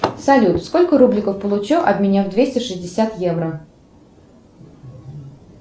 салют сколько рубликов получу обменяв двести шестьдесят евро